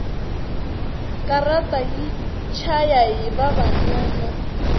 katara yi chayahi vavanuna